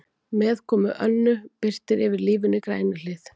Með komu Önnu birtir yfir lífinu í Grænuhlíð.